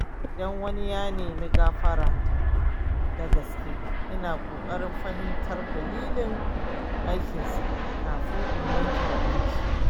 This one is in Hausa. Idan wani ya nemi gafarata da gaske, ina ƙoƙarin fahimtar dalilin aikinsa kafin in yanke hukunci.